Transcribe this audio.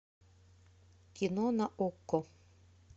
кино на окко